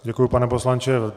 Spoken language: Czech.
Děkuji, pane poslanče.